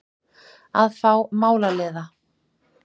Að fá málaliða!